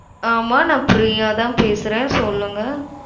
ஆமா நான் பிரியாதான் பேசறேன் சொல்லுங்க